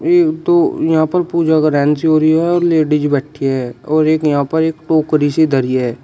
ये तो यहां पर पूजा से हो रही है और लेडिज बैठी है और एक यहां पर एक टोकरी सी धरी है।